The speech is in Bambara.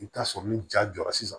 I bɛ taa sɔrɔ ni ja jɔra sisan